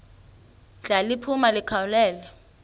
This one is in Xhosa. ndla liphuma likhawulele